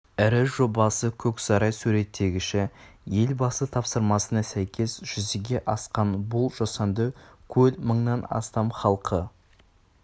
ірі жобасы көксарай суреттегіші елбасы тапсырмасына сәйкес жүзеге асқан бұл жасанды көл мыңнан астам халқы